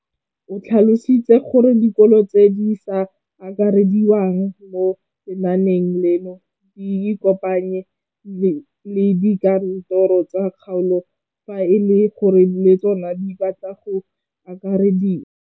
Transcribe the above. O tlhalositse gore dikolo tse di sa akarediwang mo lenaaneng leno di ikopanye le dikantoro tsa kgaolo fa e le gore le tsona di batla go akarediwa.